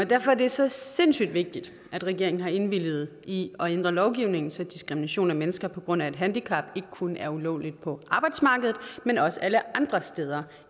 derfor er det så sindssygt vigtigt at regeringen har indvilliget i at ændre lovgivningen så diskrimination af mennesker på grund af et handicap ikke kun er ulovligt på arbejdsmarkedet men også alle andre steder